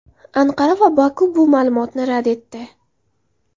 Anqara va Boku bu ma’lumotni rad etdi.